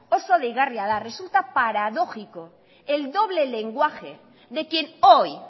oso deigarria da resulta paradójico el doble lenguaje de quien hoy